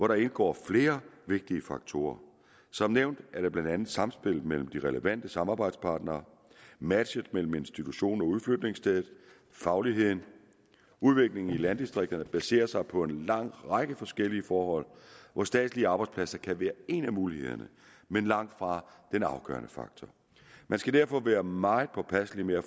der indgår flere vigtige faktorer som nævnt er det blandt andet samspillet mellem de relevante samarbejdspartnere matchen mellem institution og udflytningssted og fagligheden udviklingen i landdistrikterne baserer sig på en lang række forskellige forhold hvor statslige arbejdspladser kan være en af mulighederne men langtfra den afgørende faktor man skal derfor være meget påpasselig med at